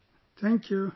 thanks bhaiyya